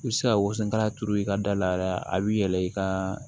I bɛ se ka woson kala turu i ka da la a bɛ yɛlɛ i ka